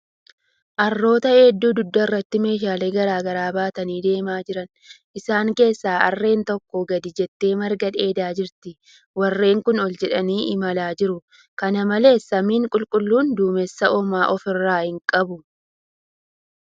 Harroota hedduu dugda irratti meeshaalee garagaraa baatanii deemaa jiran. Isaan keessaa harreen takka gadi jettee marga dheedaa jirti. Warreeen kuun ol jedhanii imalaa jiru. Kana malees, samiin qulqulluun duumessa homaa of irraa hin qabu.